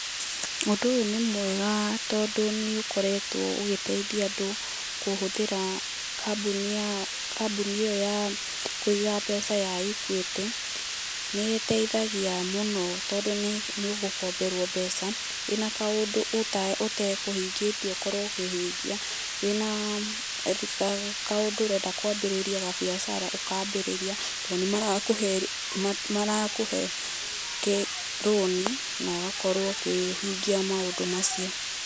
Ũndũ ũyũ nĩ mwega, tondũ nĩ ũkoretwo ũgĩteithia andũ, kũhũthĩra, kambũnĩ ya, kambũnĩ ĩyo ya, kũiga mbeca ya Ekwĩtĩ, nĩ iteithagia mũno tondũ nĩ ũgũkomberwo mbeca, wĩna kaũndũ ũta ũte ũtekũhingitie ũkorwo ũkĩhingia, wĩna, kaũndũ ũrenda kwa mbĩrĩria biacara ũkambĩrĩria, tondũ nĩ mara marakũhe kĩ rũni na ũgakorwo ũkĩhingia maũndũ macio.